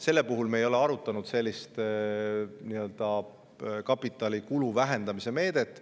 Selle puhul me ei ole arutanud sellist kapitalikulu vähendamise meedet.